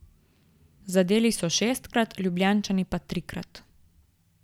Zadeli so šestkrat, Ljubljančani pa trikrat.